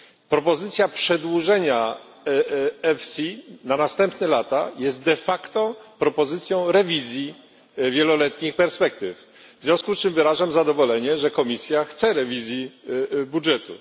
Propozycja przedłużenia EFIS na następne lata jest de facto propozycją rewizji wieloletnich perspektyw. W związku z czym wyrażam zadowolenie, że Komisja chce rewizji budżetu.